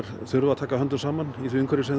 þurfa að taka höndum saman í því umhverfi sem þeir